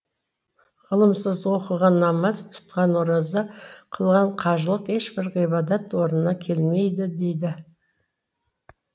ғылымсыз оқыған намаз тұтқан ораза қылған қажылық ешбір ғибадат орнына келмейді дейді